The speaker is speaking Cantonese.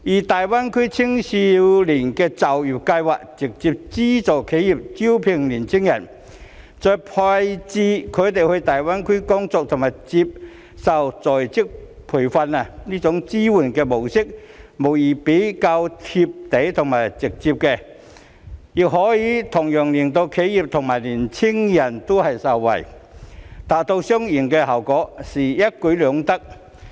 大灣區青年就業計劃則直接資助企業招聘年輕人，再把他們派到大灣區工作及接受在職培訓，這種支援模式無疑是較"貼地"及直接，亦可以令企業及年輕人同樣受惠，達到雙贏效果，實在一舉兩得。